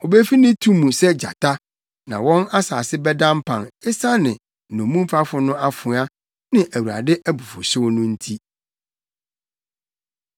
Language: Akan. Obefi ne tu mu sɛ gyata, na wɔn asase bɛda mpan esiane nnomumfafo no afoa ne Awurade abufuwhyew no nti.